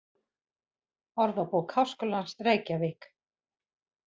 Orðabók Háskólans: Reykjavík.